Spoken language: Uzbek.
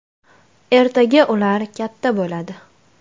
Ertaga ular katta bo‘ladi.